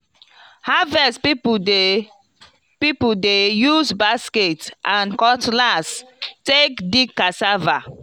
harvest people dey people dey use basket and cutlass take dig cassava